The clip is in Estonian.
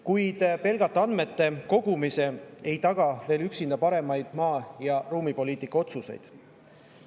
Kuid pelgalt andmete kogumine ei taga veel paremaid maa‑ ja ruumipoliitika otsuseid.